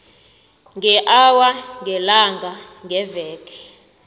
ngeawa ngelanga ngeveke